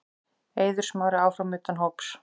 Eiður Smári áfram utan hóps